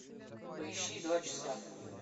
поищи два часа